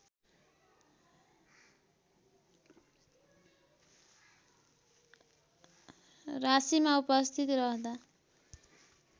राशीमा उपस्थित रहँदा